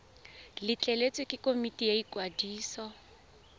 letleletswe ke komiti ya ikwadiso